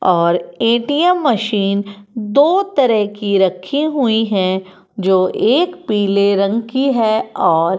और ATM machine दो तरह की रखी हुई हैं जो एक पीले रंग की है और--